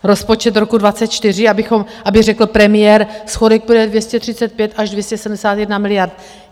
Rozpočet roku 2024, aby řekl premiér - schodek bude 235 až 271 miliard.